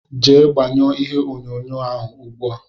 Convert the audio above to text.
Jee gbanyuo ìhè onyonyo ahụ ùgbúà!!!!